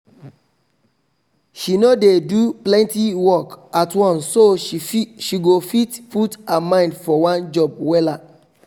she no dey do plenty work at once so she go fit put her mind for one job wella